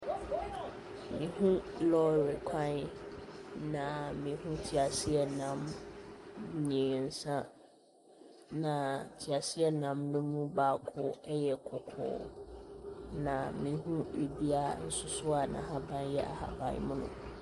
Mehu lɔre kwan, na mehu teaseɛnam mmeɛnsa, na teaseɛnam no mu baako yɛ kɔkɔɔ, na mehu dua nso so a n'ahaban yɛ ahaban mono.